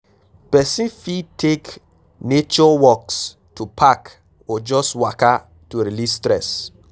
Persin fit take nature walks to park or just waka to release stress